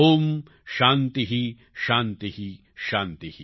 ઓમ શાંતિઃ શાંતિઃ શાંતિ